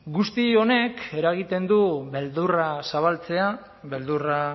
guzti honek eragiten du beldurra zabaltzea beldurra